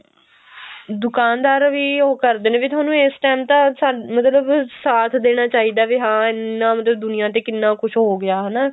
ਦੁਕਾਨਦਾਰ ਵੀ ਉਹ ਇਹ ਕਰਦੇ ਨੇ ਵੀ ਤੁਹਾਨੂੰ ਇਸ ਟੇਮ ਤਾਂ ਅਹ ਮਤਲਬ ਸਾਥ ਦੇਣਾ ਚਾਹੀਦਾ ਵੀ ਹਾਂ ਇੰਨਾ ਮਤਲਬ ਦੁਨੀਆਂ ਤੇ ਕਿੰਨਾ ਕੁੱਝ ਹੋ ਗਿਆ ਹਨਾ